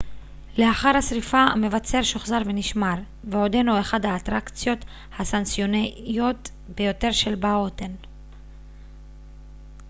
לאחר השריפה המבצר שוחזר ונשמר ועודנו אחת האטרקציות הסנסציוניות ביותר של בהוטן